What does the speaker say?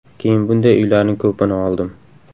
Keyin bunday uylarning ko‘pini oldim.